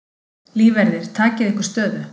Lífverðir takið ykkur stöðu.